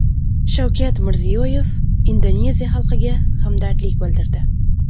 Shavkat Mirziyoyev Indoneziya xalqiga hamdardlik bildirdi.